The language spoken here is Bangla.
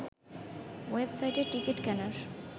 ওয়েবসাইটে টিকিট কেনার